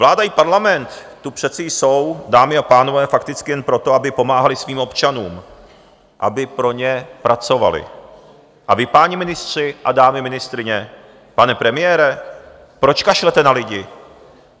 Vláda i parlament tu přece jsou, dámy a pánové, fakticky jen proto, aby pomáhaly svým občanům, aby pro ně pracovaly, a vy, páni ministři a dámy ministryně, pane premiére, proč kašlete na lidi?